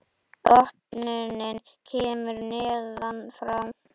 Opnunin kemur neðan frá.